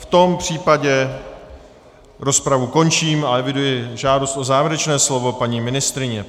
V tom případě rozpravu končím a eviduji žádost o závěrečné slovo paní ministryně.